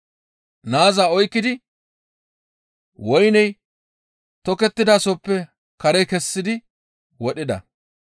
Naaza oykkidi woyney tokettidasozappe kare kessidi wodhida.